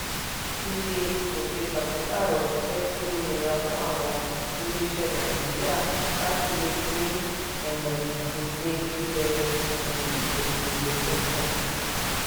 iye ìgòkè pàṣípàrọ̀ ti jẹ́ kí ó ó nira fún àwọn ilé iṣẹ́ nàìjíríà láti lè gbé um gbèsè ilẹ̀ um òkèèrè tuntun.